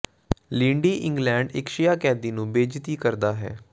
ਲੀਂਡੀ England ਇਕ ਸ਼ੀਆ ਕੈਦੀ ਨੂੰ ਬੇਇੱਜ਼ਤੀ ਕਰਦਾ ਹੈ